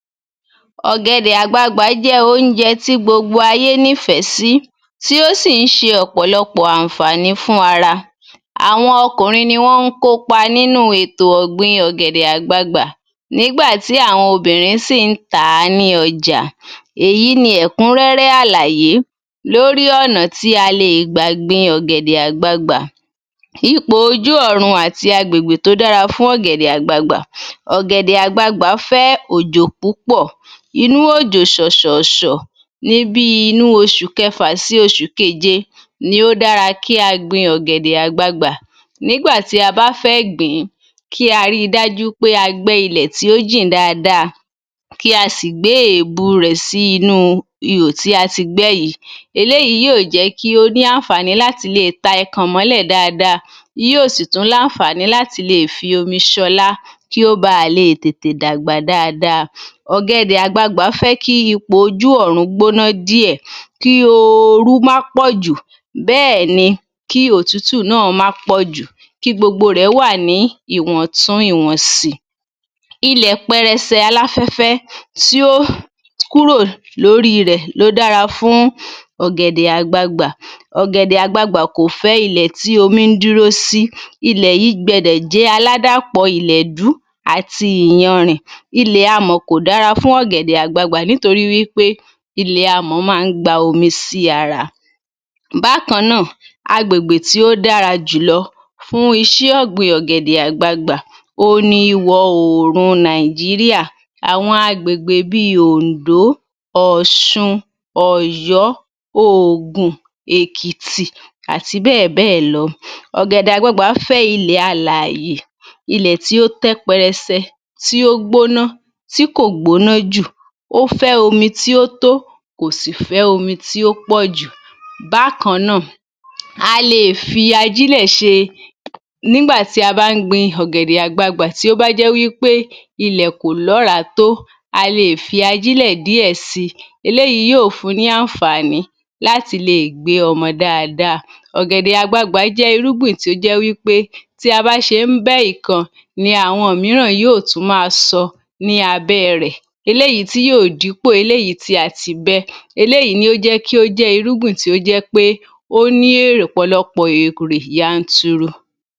Ọ̀gẹ̀dẹ̀ àgbagbà jẹ́ oúnjẹ tí gbogbo ayé nífẹ̀ẹ́ sí, tí ó sì ń ṣe ọ̀pọ̀lọpọ̀ àǹfàní fún ara. Àwọn ọkùnrin ni wọ́n ń kópa nínú ètò ọ̀gbìn ọ̀gẹ̀dẹ̀ àgbagbà, nígbà tí àwọn obìnrin sì ń tà á ní ọjà. Èyí ni ẹ̀kúnrẹ́rẹ́ àlàyé lórí ọ̀nà tí a lè gbà gbin ọ̀gẹ̀dẹ̀ àgbagbà. Ipò ojú ọ̀run àti agbègbè tó dára fún ọ̀gẹ̀dẹ̀ àgbagbà, ọ̀gẹ̀dẹ̀ àgbagbà fẹ́ òjò púpọ̀, inú òjò ṣòṣọ̀ọ̀ṣọ̀, ní bí i inú oṣù kẹfà sí oṣù kéje ni ó dára kí a gbin ọ̀gẹ̀dẹ̀ àgbagbà nígbà tí a bá fẹ́ gbìn ín, kí a rí i dájú pé a gbẹ́ ilẹ̀ tí ó jìn dáadáa, kí a sì gbé èbù rẹ̀ sí inú ihò tí a ti gbẹ́ yìí, eléyìí yóò jẹ́ kí ó ní àǹfàní láti lè ta ẹkàn mọ́lẹ̀ dáadáa, yóò sì tún láǹfàní láti lè fi omi ṣọlá, kí ó báa lè tètè dàgbà dáadáa. Ọ̀gẹ̀dẹ̀ àgbagbà fẹ́ kí ipò ojú ọ̀run gbóná díẹ̀, kí ooru má pọ̀jù, bẹ́ẹ̀ ni kí òtútù má pọ̀jù, kí gbogbo rẹ̀ wà ní ìwọ̀ntún ìwọ̀nsì. Ilẹ̀ pẹrẹsẹ aláfẹ́fẹ́ tí ó kúrò lórí rẹ̀ ló dára fún ọ̀gẹ̀dẹ̀ àgbagbà, ọ̀gẹ̀dẹ̀ àgbagbà kò fẹ́ ilẹ̀ tí omi n dúró sí, ilẹ̀ yìí gbọ́dọ̀ jẹ́ aládàpọ̀ ìlẹ̀dú àti ìyanrì. Ilẹ̀ amọ̀ kò dára fún ọ̀gẹ̀dẹ̀ àgbagbà nítorí wípé ilẹ̀ amọ̀ máa ń gba omi sí ara. Bákan náà agbègbè tí ó dára jùlọ fún iṣẹ́ ọ̀gbìn ọ̀gẹ̀dẹ̀ àgbagbà òhun ni ìwọ̀-oòrùn Nàìjíríà, àwọn agbègbè bí i Oǹdó, Ọ̀ṣun, Òyó, Ògùn, Èkìtì, àti bẹ́ẹ̀ bẹ́ẹ̀ lọ. Ọ̀gẹ̀dẹ̀ àgbagbà fẹ́ ilẹ̀ alààyè, ilẹ̀ tí ó tẹ́ pẹrẹsẹ, tí ó gbóná, tí kò gbóná jù, ó fẹ́ omi tí ó tó, kò sì fẹ́ omi tí ó pọ̀ jù. Bákan náà, a lè fi ajílẹ̀ ṣe, nígbà tí a bá ń gbin ọ̀gẹ̀dẹ̀ àgbagbà tí ó bá jẹ́ wípé ilẹ̀ kò lóràá tó, a lè fi ajílẹ̀ díẹ̀ si, eléyìí yóò fún ní àǹfàní láti lè gbé ọmọ dáadáa. Ọ̀gẹ̀dẹ̀ àgbagbà jẹ́ irúgbìn tí ó jẹ́ wípé tí a bá ṣe ń bẹ́ ìkan, ní àwọn mìíràn yóò tún máa sọ ní abẹ́ rẹ̀, eléyìí tí yóò dípò eléyìí tí a ti bẹ́, eléyìí ní ó jẹ́ kí ó jẹ́ irúgbìn tó jẹ́ pé ó ní ọ̀pọ̀lọpọ̀ èrè yanturu